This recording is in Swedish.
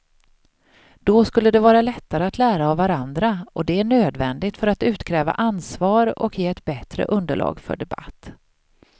Då skulle det vara lättare att lära av varandra och det är nödvändigt för att utkräva ansvar och ge ett bättre underlag för debatt.